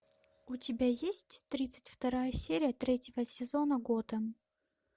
у тебя есть тридцать вторая серия третьего сезона готэм